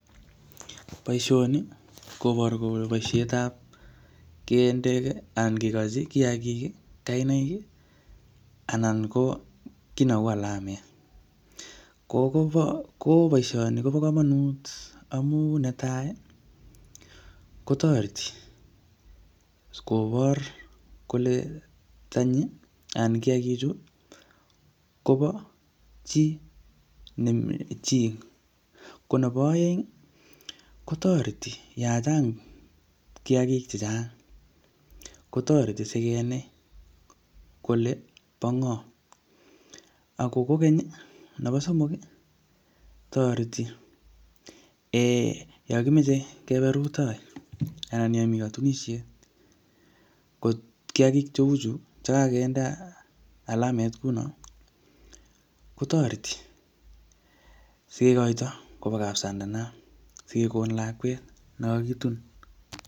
Boisoni, koboru kole boisetab kende anan kekochi koyagik kainaik, anan ko ki neu alamet. Ko um ko boisoni kobo komonut amu netai kotoreti kobor kole tanyi, ana kiyagik chu, kobo chi ne um chi. Ko nebo aeng, kotoreti yachang' kiyagik chechang'. Kotoreti sikenai kole pa ng'o. Ako kokeny, nebo somok, toreti um yokimeche kebe rutoi, ana yomi katunisiet, ko kiyagik cheuchu che kakinde alamet kouno kotoreti sikekoito kobo kap sandana, sikekon lakwet ne kakitun